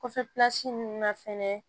Kɔfɛlasi ninnu na fɛnɛ